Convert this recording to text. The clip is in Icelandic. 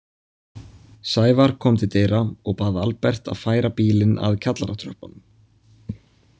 Sævar kom til dyra og bað Albert að færa bílinn að kjallaratröppunum.